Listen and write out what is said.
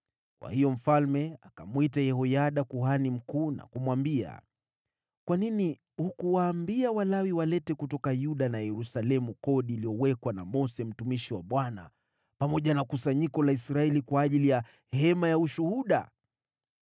Kwa hiyo mfalme akamwita Yehoyada kuhani mkuu na kumwambia, “Kwa nini hukuwaambia Walawi walete kutoka Yuda na Yerusalemu kodi iliyowekwa na Mose mtumishi wa Bwana pamoja na kusanyiko la Israeli kwa ajili ya Hema ya Ushuhuda?”